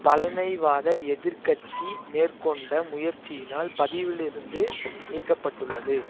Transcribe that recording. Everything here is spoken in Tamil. பழமைவாத எதிர் கட்சி மேற்கொண்ட முயற்சியினால் பதிவியிலிருந்து நீக்கப்பட்டுள்ளது